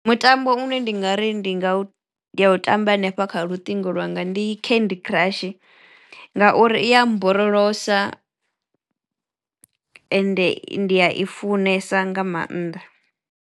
Mutambo une ndi nga ri ndi nga u ndi a u tamba hanefha kha luṱingo lwanga ndi candy crush ngauri iya mborolosa ende ndi ya i funesa nga mannḓa.